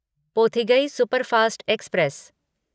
Pothigai superfast express